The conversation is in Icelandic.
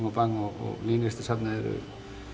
og Bang og Nýlistasafnið eru